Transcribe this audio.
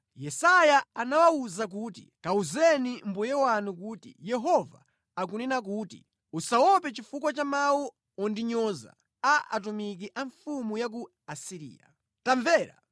Yesaya anawawuza kuti, “Kawuzeni mbuye wanu kuti ‘Yehova akunena kuti: Usachite mantha ndi zimene wamva, mawu amene nthumwi za mfumu ya ku Asiriya zandinyoza nawo Ine.